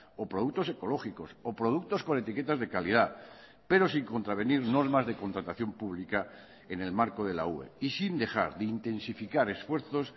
o productos ecológicos o productos con etiquetas de calidad pero sin contravenir normas de contratación pública en el marco de la ue y sin dejar de intensificar esfuerzos